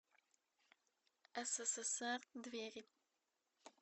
ссср двери